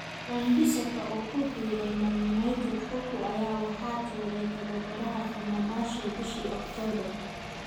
Wan-Bissaka oo ku biiray Man Utd Cocu ayaa waxaa tuuray tababaraha Fenerbahce bishii October.